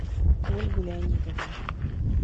ольгу леонидовну